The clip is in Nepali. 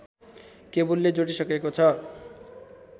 केबुलले जोडिसकेको छ